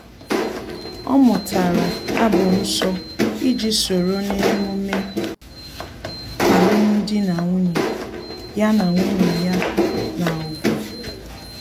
Ọ mụtara abụ nsọ iji soro na-emume alum dị na nwunye ya na nwunye ya na-ùgwù